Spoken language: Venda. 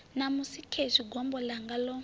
ṋamusi khezwi gombo ḽanga ḽo